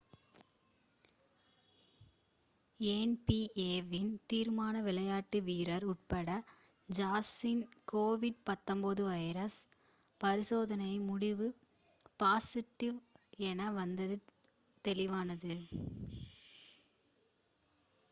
NP. A வின் தீர்மானம் விளையாட்டு வீரர் உட்டா ஜாஸின் கோவிட்-19 வைரஸ் பரிசோதனை முடிவு பாஸிட்டிவ் என வந்ததும் வெளியானது